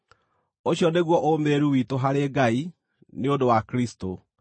Ũcio nĩguo ũũmĩrĩru witũ harĩ Ngai nĩ ũndũ wa Kristũ.